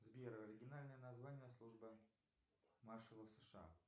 сбер оригинальное название службы маршалов сша